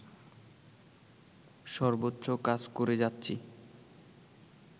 সর্বোচ্চ কাজ করে যাচ্ছি